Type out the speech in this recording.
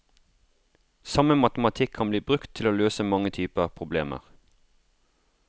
Samme matematikk kan bli brukt til å løse mange typer problemer.